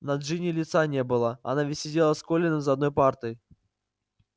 на джинни лица не было она ведь сидела с колином за одной партой